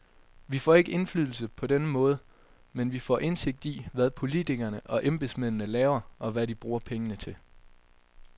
Vi får ikke indflydelse på denne måde, men vi får indsigt i, hvad politikerne og embedsmændene laver, og hvad de bruger pengene til.